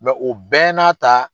o bɛɛ n'a ta